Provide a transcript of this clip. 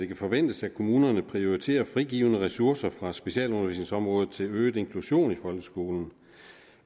kan forventes at kommunerne prioriterer frigivne ressourcer fra specialundervisningsområdet til øget inklusion i folkeskolen